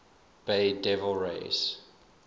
bay devil rays